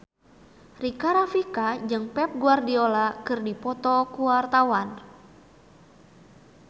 Rika Rafika jeung Pep Guardiola keur dipoto ku wartawan